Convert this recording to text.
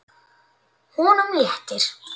Honum léttir.